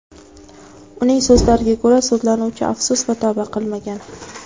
Uning so‘zlariga ko‘ra, sudlanuvchi afsus va tavba qilmagan.